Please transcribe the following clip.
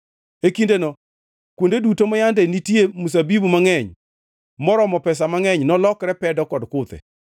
E kindeno kuonde duto ma yande nitie mzabibu mangʼeny, maromo pesa mangʼeny nolokre pedo kod kuthe.